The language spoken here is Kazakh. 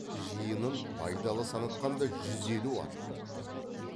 жиынын байдалы санатқанда жүз елу ат бопты